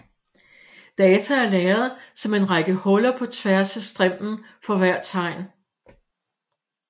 Data er lagret som en række huller på tværs af strimlen for hvert tegn